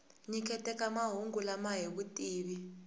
nyiketaka mahungu lama hi vutivi